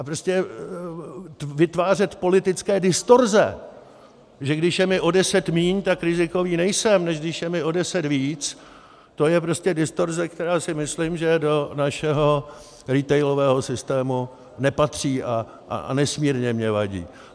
A prostě vytvářet politické distorze, že když je mi o deset míň, tak rizikový nejsem, než když je mi o deset víc, to je prostě distorze, která si myslím, že do našeho retailového systému nepatří a nesmírně mně vadí.